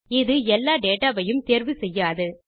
இது எல்லா டேட்டா வையும் தேர்வு செய்யாது